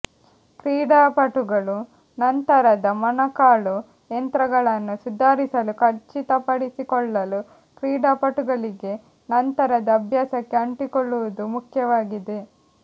ಕ್ರೀಡಾಪಟುಗಳು ನಂತರದ ಮೊಣಕಾಲು ಯಂತ್ರಗಳನ್ನು ಸುಧಾರಿಸಲು ಖಚಿತಪಡಿಸಿಕೊಳ್ಳಲು ಕ್ರೀಡಾಪಟುಗಳಿಗೆ ನಂತರದ ಅಭ್ಯಾಸಕ್ಕೆ ಅಂಟಿಕೊಳ್ಳುವುದು ಮುಖ್ಯವಾಗಿದೆ